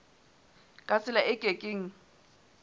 ka tsela e ke keng